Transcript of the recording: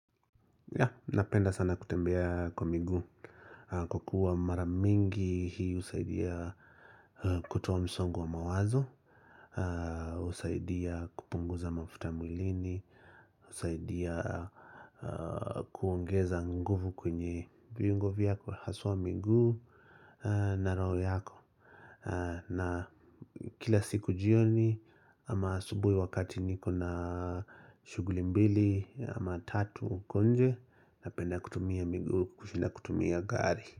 Napenda sana kutembea kwa miguu kwa kuwa maramingi hii husaidia kutoa msongo wa mawazo, husaidia kupunguza mafuta mwilini, husaidia kuongeza nguvu kwenye viungo vyako haswa miguu na roho yako. Na kila siku jioni ama asubuhi wakati niko na shuguli mbili ama tatu huko nje napenda kutumia miguu kushinda kutumia gari.